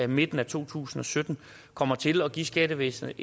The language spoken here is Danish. midten af to tusind og sytten kommer til at give skattevæsnet